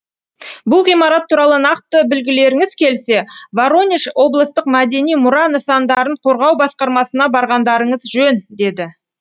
бұл ғимарат туралы нақты білгілеріңіз келсе воронеж облыстық мәдени мұра нысандарын қорғау басқармасына барғандарыңыз жөн деді